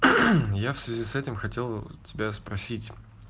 я в связи с этим хотел тебя спросить